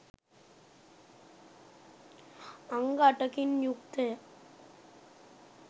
අංග අටකින් යුක්තය.